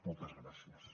moltes gràcies